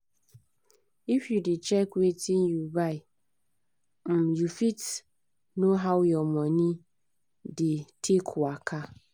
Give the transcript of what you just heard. if you dey check wetin you buy um you fit know how your money dey um waka